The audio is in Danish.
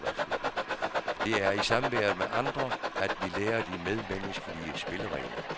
Det er i samværet med andre, at vi lærer de medmenneskelige spilleregler.